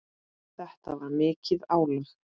Þetta var mikið álag.